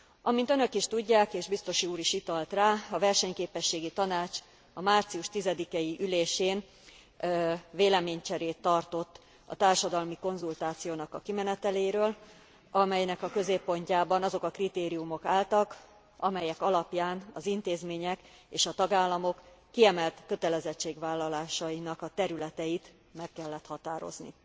Amint Önök is tudják, és biztos úr is utalt rá, a Versenyképességi Tanács a március 10 ei ülésén véleménycserét tartott a társadalmi konzultációnak a kimeneteléről, amelynek a középpontjában azok a kritériumok álltak, amelyek alapján az intézmények és a tagállamok kiemelt kötelezettségvállalásainak a területeit meg kellett határozni.